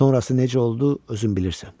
Sonrası necə oldu, özün bilirsən.